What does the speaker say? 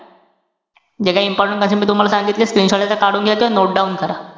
जे काही important concept मी तुम्हाला सांगितले screenshot याचा कडून घ्यायचंय. note down करा.